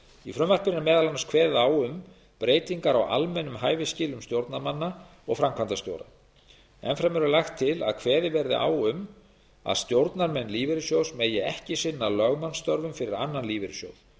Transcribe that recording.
í frumvarpinu er meðal annars kveðið á um breytingar á almennum hæfisskilyrðum stjórnarmanna og framkvæmdastjóra enn fremur er lagt til að kveðið verði á um að stjórnarmenn lífeyrissjóðs megi ekki sinna lögmannsstörfum fyrir annan lífeyrissjóð